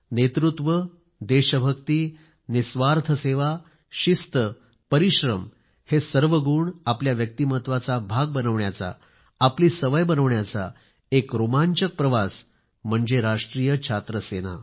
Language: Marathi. नेतृत्व देशभक्ती निस्वार्थ सेवा शिस्त परिश्रम हे सर्व गुण आपल्या व्यक्तिमत्त्वाचा भाग बनवण्याचा आपली सवय बनवण्याचा एक रोमांचक प्रवास म्हणजे राष्ट्रीय छात्र सेना